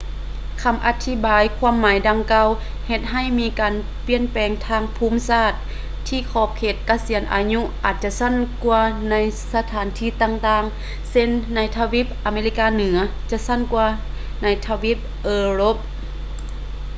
ຄຳອະທິບາຍຄວາມໝາຍດັ່ງກ່າວ ເຮັດໃຫ້ມີການປ່ຽນແປງທາງພູມສາດ ທີ່ຂອບເຂດກະສຽນອາຍຸອາດຈະສັ້ນກວ່າໃນສະຖານທີ່ຕ່າງໆ ເຊັ່ນ ໃນທະວີບອາເມລິກາເໜືອ ຈະສັ້ນກວ່າໃນ ທະວີບເອີຣົບ